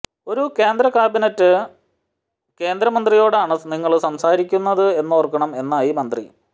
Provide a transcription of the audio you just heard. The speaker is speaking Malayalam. ഒരു കേന്ദ്ര ക്യാബിനറ്റ് കേന്ദ്രമന്ത്രിയോടാണ് നിങ്ങള് സംസാരിക്കുന്നത് എന്നോര്ക്കണം എന്നായി മന്ത്രി